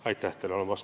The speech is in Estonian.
Aitäh teile!